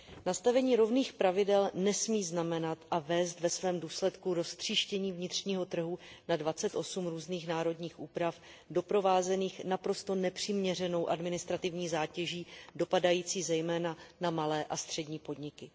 Nastavení rovných pravidel nesmí znamenat a vést ve svém důsledku k roztříštění vnitřního trhu na dvacet osm různých národních úprav doprovázených naprosto nepřiměřenou administrativní zátěží dopadající zejména na malé a střední podniky.